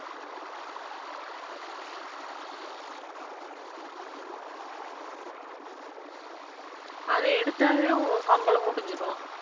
அதை எடுத்தாவே, உன் சம்பளம் முடிஞ்சிரும்